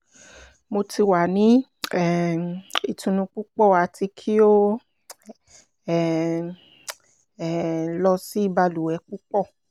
mo ti wa ni um itunu pupọ ati ki o um um lọ si baluwe pupọ